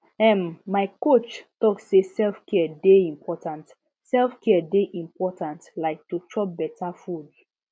ehm my coach talk say selfcare dey important selfcare dey important like to chop better food